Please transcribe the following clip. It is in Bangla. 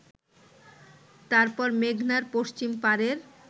তারপর মেঘনার পশ্চিম পারের